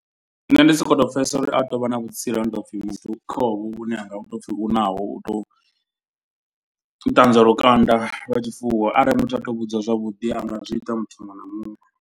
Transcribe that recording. Nṋe ndi sokoto pfhesesa uri a tou vha na vhutsila ha tou pfhi muthu kha honovho vhune ha nga pfhi naho. U tou ṱanzwa lukanda lwa tshifuwo arali muthu a tou vhudziwa zwavhuḓi a nga zwi ita muthu muṅwe na muṅwe.